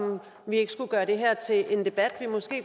vi ikke skulle gøre det her til en debat vi måske